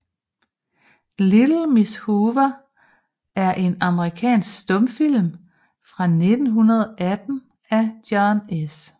Little Miss Hoover er en amerikansk stumfilm fra 1918 af John S